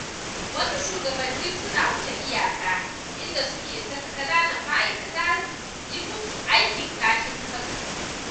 Wasu shugabannin suna wuce iyaka, inda suke saka ƙananan ma'aikata yi musu aikin ƙashin kansu.